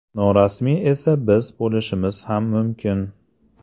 Norasmiyi esa biz bo‘lishimiz ham mumkin.